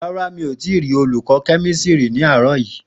Ràrá mi ò tí rí olùkọ́ kẹ́mísírì ní àárọ̀ yìí.